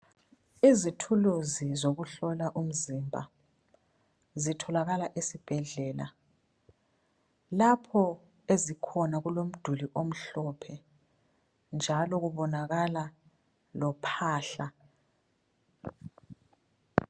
Izithuluzi zokuhlola umzimba zitholakala esibhedlela. Lapho ezikhona kulomduli omhlophe njalo kubonakala lophahla.